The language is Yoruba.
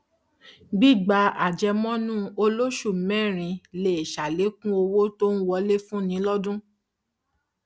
gbígba àjẹmọnú olóṣùmẹrin lè sàlékún owó tó ń wọlé fúnni lọdún